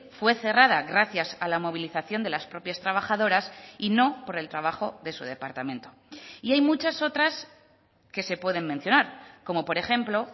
fue cerrada gracias a la movilización de las propias trabajadoras y no por el trabajo de su departamento y hay muchas otras que se pueden mencionar como por ejemplo